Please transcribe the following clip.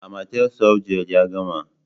Amatel softgel ya gama.